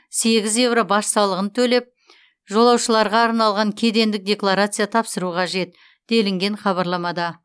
сегіз еуро баж салығын төлеп жолаушыларға арналған кедендік декларация тапсыру қажет делінген хабарламада